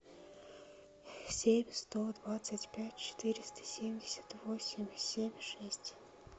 семь сто двадцать пять четыреста семьдесят восемь семь шесть